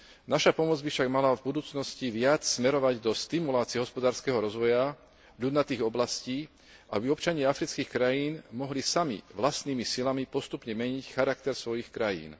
Naša pomoc by však mala v budúcnosti viac smerovať do stimulácie hospodárskeho rozvoja ľudnatých oblastí, aby občania afrických krajín mohli sami, vlastnými silami postupne meniť charakter svojich krajín.